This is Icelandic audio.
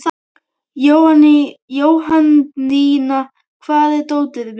Jóhanndína, hvar er dótið mitt?